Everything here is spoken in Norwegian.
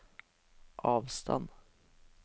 avstand